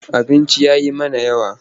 Abincin ya yi mana yawa.